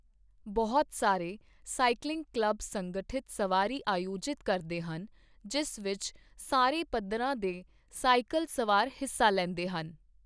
ਬਹੁਤ ਸਾਰੇ cycling club ਸੰਗਠਿਤ ਸਵਾਰੀ ਆਯੋਜਿਤ ਕਰਦੇ ਹਨ ਜਿਸ ਵਿੱਚ ਸਾਰੇ ਪੱਧਰਾਂ ਦੇ ਸਾਈਕਲ ਸਵਾਰ ਹਿੱਸਾ ਲੈਂਦੇ ਹਨ।